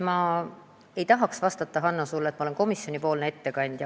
Ma ei tahaks sulle, Hanno, vastata, et ma olen komisjonipoolne ettekandja.